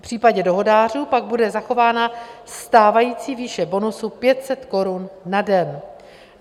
V případě dohodářů pak bude zachována stávající výše bonusu 500 korun na den.